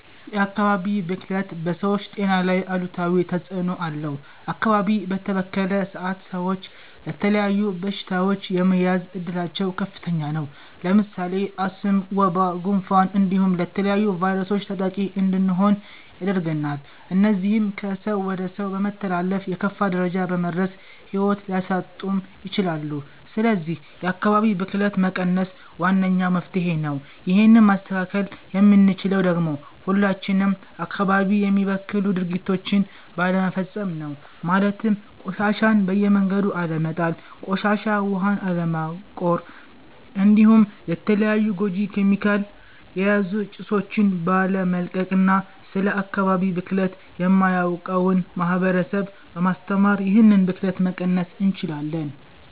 የ አካባቢ ብክለት በ ሰወች ጤና ላይ አሉታዊ ተፅእኖ አለው አካባቢ በተበከለ ሰአት ሰወች ለተለያዩ በሺታወች የመያዝ እድላቸው ከፍተኛ ነው። ለምሳሌ አስም፣ ወባ፣ ጉንፋን እንዲሁም ለተለያዩ ቫይረሶች ተጠቂ እንድንሆን ያደርገናል እነዚህም ከ ሰው ወደ ሰው በመተላለፍ የከፋ ደረጃ በመድረስ ሂዎት ሊያሳጡም ይችላሉ ስለዚህ የ አካባቢ ብክለትን መቀነስ ዋነኛው መፍትሄ ነው ይህን ማስተካከል የምንችለው ደግሞ ሁላችንም አካባቢ የሚበክሉ ድርጊቶችን ባለመፈፀም ነው ማለትም ቆሻሻን በየመንገዱ አለመጣል፣ ቆሻሻ ዉሀን አለማቆር እንዲሁም የተለያዩ ጎጂ ኬሚካል የያዙ ጭሶቺን ባለመልቀቅ እና ስለ አካባቢ ብክለት የማያውቀውን ማህበረሰብ በማስተማር ይህንን ብክለት መቀነስ እንችላለን።